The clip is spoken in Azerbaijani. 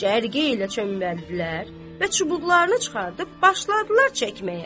Cərgə ilə çöməldilər və çubuqlarını çıxartıb başladılar çəkməyə.